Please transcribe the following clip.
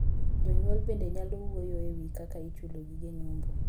Jonyuol bende nyalo wuoyo e wii kaka ichulo gige nyombo.